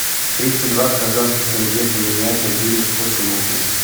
тридцать два казахских тенге поменять на гривны сколько нужно